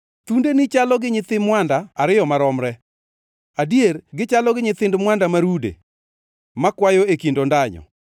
Thundeni chalo gi nyithi mwanda ariyo maromre adier gichalo gi nyithind mwanda ma rude, makwayo e kind ondanyo.